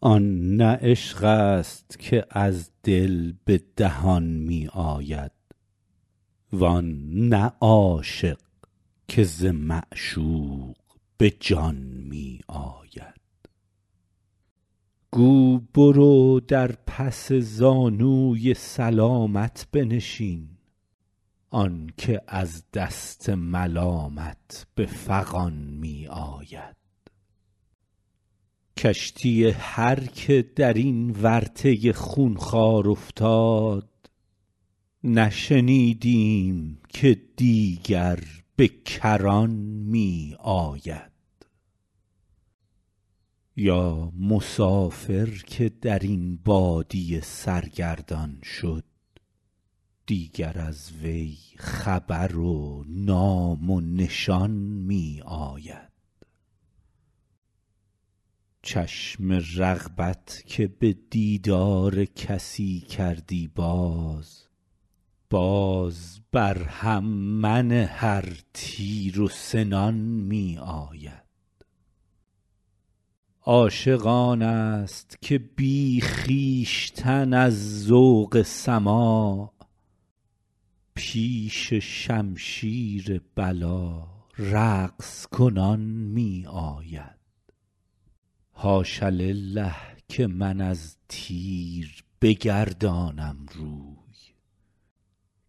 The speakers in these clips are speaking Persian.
آن نه عشق است که از دل به دهان می آید وان نه عاشق که ز معشوق به جان می آید گو برو در پس زانوی سلامت بنشین آن که از دست ملامت به فغان می آید کشتی هر که در این ورطه خونخوار افتاد نشنیدیم که دیگر به کران می آید یا مسافر که در این بادیه سرگردان شد دیگر از وی خبر و نام و نشان می آید چشم رغبت که به دیدار کسی کردی باز باز بر هم منه ار تیر و سنان می آید عاشق آن است که بی خویشتن از ذوق سماع پیش شمشیر بلا رقص کنان می آید حاش لله که من از تیر بگردانم روی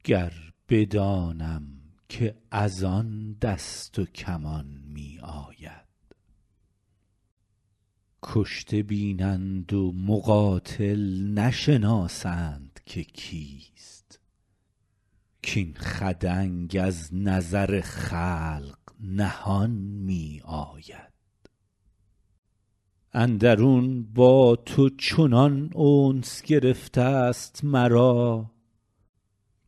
گر بدانم که از آن دست و کمان می آید کشته بینند و مقاتل نشناسند که کیست کاین خدنگ از نظر خلق نهان می آید اندرون با تو چنان انس گرفته ست مرا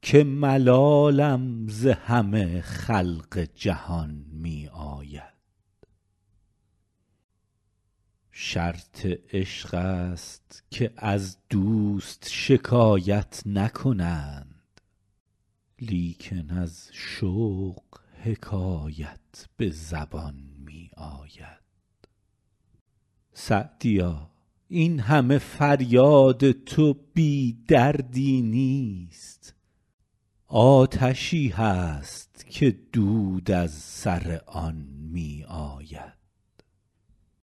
که ملالم ز همه خلق جهان می آید شرط عشق است که از دوست شکایت نکنند لیکن از شوق حکایت به زبان می آید سعدیا این همه فریاد تو بی دردی نیست آتشی هست که دود از سر آن می آید